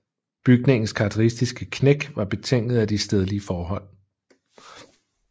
Bygningens karakteristiske knæk var betinget af de stedlige forhold